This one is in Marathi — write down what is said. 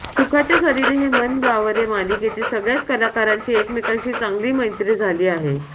सुखाच्या सरींनी हे मन बावरे मालिकेतील सगळ्याच कलाकारांची एकमेकांशी चांगली मैत्री झाली आहे